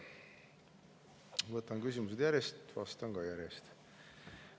Võtan küsimused järjest, vastan ka järjest.